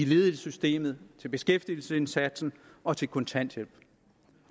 ledighedssystemet til beskæftigelsesindsatsen og til kontanthjælp